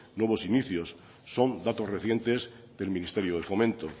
nuevos inicios son datos recientes del ministerio de fomento